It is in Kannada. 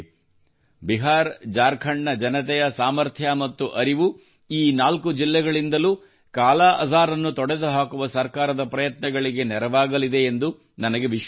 ಬಿಹಾರಜಾರ್ಖಂಡ್ನ ಜನತೆಯ ಸಾಮರ್ಥ್ಯ ಮತ್ತು ಅರಿವು ಈ ನಾಲ್ಕು ಜಿಲ್ಲೆಗಳಿಂದಲೂ ಕಾಲಾಅಜಾರ್ ಅನ್ನು ತೊಡೆದುಹಾಕುವ ಸರ್ಕಾರದ ಪ್ರಯತ್ನಗಳಿಗೆ ನೆರವಾಗಲಿದೆ ಎಂದು ನನಗೆ ವಿಶ್ವಾಸವಿದೆ